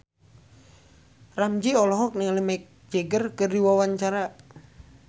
Ramzy olohok ningali Mick Jagger keur diwawancara